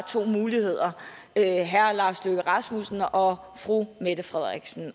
to muligheder herre lars løkke rasmussen og fru mette frederiksen